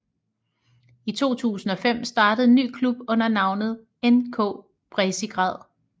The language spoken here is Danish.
I 2005 startede en ny klub under navnet NK Bezigrad